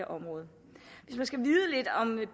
område